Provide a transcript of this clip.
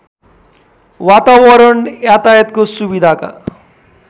वातावरण यातायातको सुविधाका